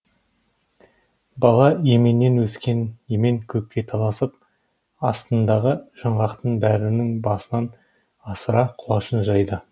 бала еменнен өскен емен көкке таласып астындағы жаңғақтың бәрінің басынан асыра құлашын жайды